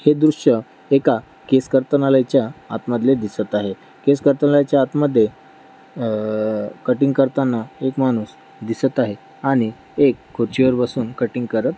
हे दृश्य एका केस करतांनालयच्या आत मधले दिसत आहे. केस करतांनालयच्या आतमध्ये अ कटिंग करताना एक माणूस दिसत आहे आणि एक खुर्चीवर बसून कटिंग करत--